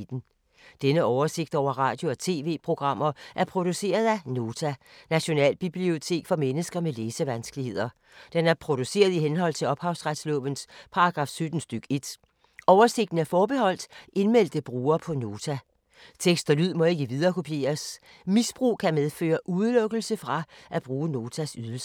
Denne oversigt over radio og TV-programmer er produceret af Nota, Nationalbibliotek for mennesker med læsevanskeligheder. Den er produceret i henhold til ophavsretslovens paragraf 17 stk. 1. Oversigten er forbeholdt indmeldte brugere på Nota. Tekst og lyd må ikke viderekopieres. Misbrug kan medføre udelukkelse fra at bruge Notas ydelser.